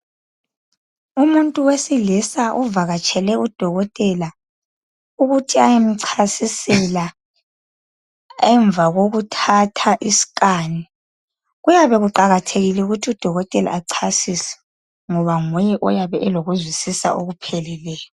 Umuntu eesilisa uvakatshele udokotela ukuthi ayemcasisela emva kokuthatha isiskani kuyabe kuqakathekile ukuthi udokotela achasise ngoba nguye oyabe elokuzwisisa okupheleleyo.